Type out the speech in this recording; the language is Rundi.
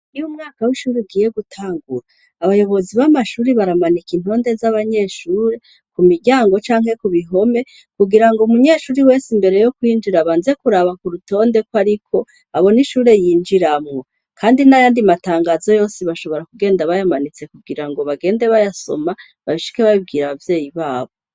Iyo umwaka w'ishure ugiye gutangura, abayobozi b'amashure baramanika intonde z'abanyeshure ku miryango canke ku bihome kugira ngo umunyeshure wese imbere yo kwinjira abanze kuraba ku rutonde ko ariko, abone ishure yinjiramwo. Kandi n'ayandi matangazo yose bashobora kugenda bayamanitse kugira ngo bagende bayasoma, bashike babibwira abavyeyi babo.